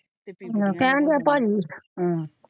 ਹਾਂ ਤੇ ਕਹਿਣ ਡਯਾ ਭਾਜੀ।